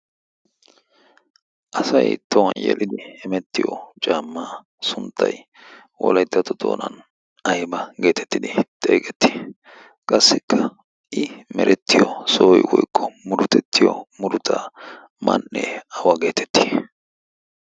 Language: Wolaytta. asay towan yeliddi emettiyo caammaa sunttay wolaiddato doonan ayba geetettidi xeeqettii qassikka i merettiyo sooi woiqqo murutettiyo muruta man'ee awa geetettii?